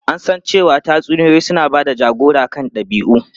An san cewa tatsuniyoyi suna ba da jagora kan dabi'u.